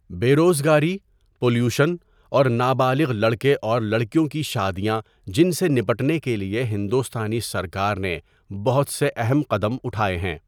بے روزگاری پلیوشن اور نابالغ لڑکے اور لڑکیوں کی شادیاں جن سے نپٹنے کے لئے ہندوستانی سرکار نے بہت سے اہم قدم اُٹھائے ہیں.